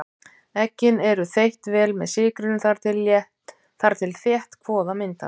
Eggin eru þeytt vel með sykrinum þar til þétt kvoða myndast.